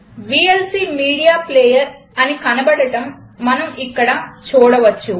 VLC media player అని కనబడటం మనం ఇక్కడ చూడవచ్చు